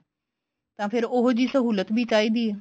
ਤਾਂ ਫੇਰ ਉਹੀ ਜਿਹੀ ਸਹੁਲਤ ਵੀ ਚਾਹੀਦੀ ਹੈ